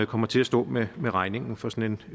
kommer til at stå med med regningen for sådan